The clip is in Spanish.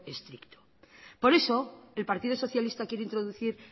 estricto por eso el partido socialista quiere introducir